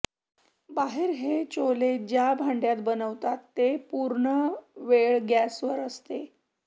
बाहेर हे चोले ज्या भांड्यात बनवतात ते पुर्णवेळ गॅसवर असते